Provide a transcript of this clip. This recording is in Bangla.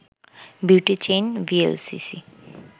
beauty chain VLCC